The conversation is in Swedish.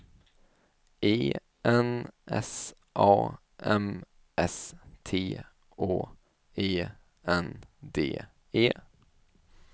E N S A M S T Å E N D E